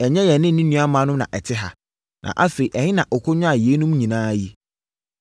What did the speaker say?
Ɛnyɛ yɛne ne nuammaanom na ɛte ha? Na afei ɛhe na ɔkɔnyaa yeinom nyinaa yi?”